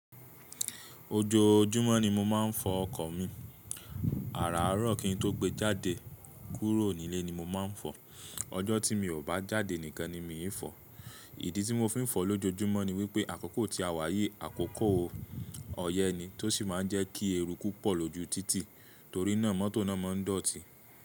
Ojoojúmọ́ ni mo máa ń fọ ọkọ̀ mi. Àràárọ̀ kí n tó gbé jáde kúrò nílé ni mo máa ń fọ. Ọjọ́ tí mi ò bá jáde nìkan ni míì fọ̀. Ìdí tí mo fi ń fọ lójojúmọ́ ni wípé àkókò tí a wáyi, àkókò ọyẹ́ ni tó sì máa ń jẹ́ kí eruku pọ̀ lójú títì torí náà mọ́tò náà máa ń dọ̀tí.